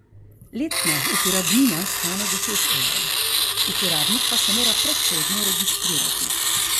Letna uporabnina stane deset evrov, uporabnik pa se mora predhodno registrirati.